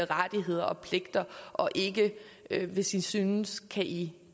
rettigheder og pligter og ikke hvis i synes kan i